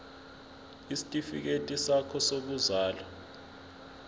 isitifikedi sakho sokuzalwa